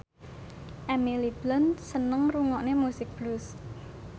Emily Blunt seneng ngrungokne musik blues